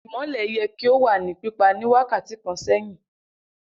Imọlẹ yẹ ki o wa ni pipa ni wakati kan sẹhin!